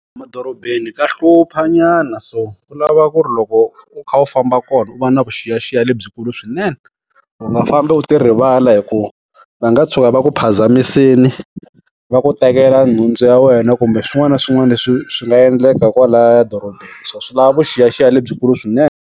Madorobeni ka hlupha nyana so. Ku lava ku ri loko u kha u famba kona u va na vuxiyaxiya lebyikulu swinene. U nga fambi u ti rivala hi ku, va nga tshuka va ku phazamisile. Va ku tekela nhundzu ya wena kumbe swin'wana na swin'wana leswi swi nga endleka kwalaya dorobeni. So swi lava vuxiyaxiya lebyikulu swinene.